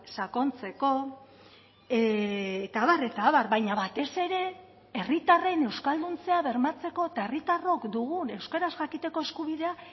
sakontzeko eta abar eta abar baina batez ere herritarren euskalduntzea bermatzeko eta herritarrok dugun euskaraz jakiteko eskubidea